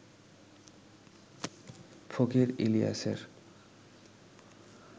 ফকির ইলিয়াসের